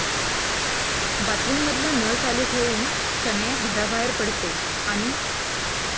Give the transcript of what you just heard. बाथरूममधला नळ चालू ठेवून शनाया घराबाहेर पडते आणि...